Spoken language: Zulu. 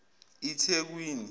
ithekwini